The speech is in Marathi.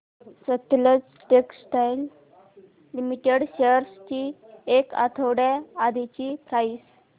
सतलज टेक्सटाइल्स लिमिटेड शेअर्स ची एक आठवड्या आधीची प्राइस